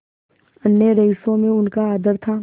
अन्य रईसों में उनका आदर था